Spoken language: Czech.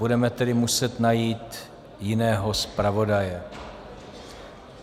Budeme tedy muset najít jiného zpravodaje.